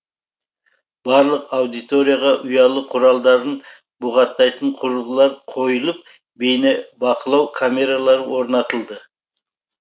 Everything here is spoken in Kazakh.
барлық аудиторияға ұялы құралдарын бұғаттайтын құрылғылар қойылып бейнебақылау камералары орнатылды